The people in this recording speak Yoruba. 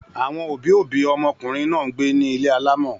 Àwọn òbí-òbí ọmọkùnrin náà ń gbé ní ilé alámọ̀.